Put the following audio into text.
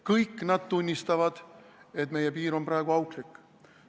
Kõik nad tunnistavad, et meie piir on praegu auklik.